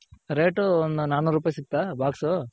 Rate ಒಂದು ನಾನುರೂಪಾಯ್ ಸಿಕ್ತ box .